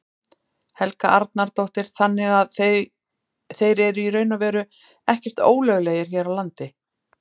Helga Arnardóttir: Þannig að þeir eru í raun og veru ekkert ólöglegir hér á landi?